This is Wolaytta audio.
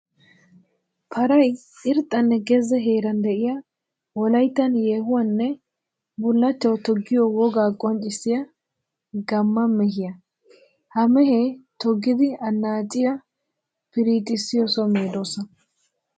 Paray irxxanne gezze heeran de'iya wolayttan yeehuwawunne bullachchawu toggiyo woga qonccissiya gamma mehiya. Ha mehee toggiddi anacciya pirixxissiyo so medosa.